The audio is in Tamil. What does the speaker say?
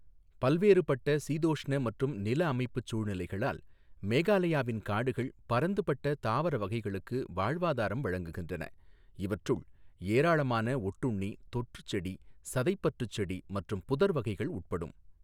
பல்வேறுபட்ட சீதோஷ்ண மற்றும் நிலஅமைப்புச் சூழ்நிலைகளால், மேகாலயாவின் காடுகள் பரந்துபட்ட தாவர வகைகளுக்கு வாழ்வாதாரம் வழங்குகின்றன, இவற்றுள் ஏராளமான ஒட்டுண்ணி, தொற்றுச்செடி, சதைப்பற்றுச் செடி மற்றும் புதர் வகைகள் உட்படும்.